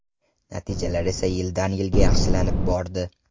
Natijalar esa yildan-yilga yaxshilanib bordi.